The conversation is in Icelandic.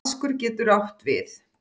Vaskur getur átt við